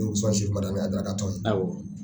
i bi taa madamu ka tɔn ye aɔ.w